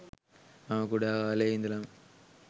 මම කුඩා කාලයේ ඉඳලම